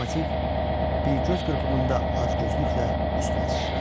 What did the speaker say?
Lokomotiv bir göz qırpımında acgözlüklə üstünə sıçradı.